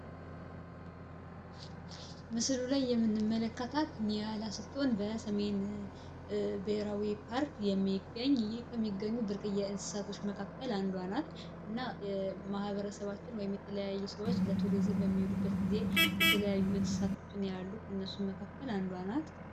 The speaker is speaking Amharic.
ምስሉ ላይ የምንመለከታት ኒያላ ስትሆን በሰሜን ብሔራዊ ፓርክ የሚገኝ ከሚገኙ ብርቅዬ እንስሳቶች መካከል አንዷ ናት እና ማህበረሰባቸውን ወይም የተለያየ ሰዎች በሚወዱበት ጊዜ የተለያዩ ከእነሱ መካከል አንዷ ናት።